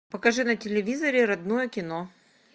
покажи на телевизоре родное кино